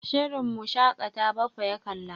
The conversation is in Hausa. Shirin Mu shaƙata Baffa ya kalla.